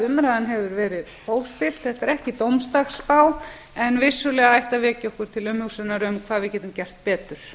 umræðan hefur verið hófstillt þetta er ekki dómsdagsspá en vissulega ætti að vekja okkur til umhugsunar um hvað við getum gert betur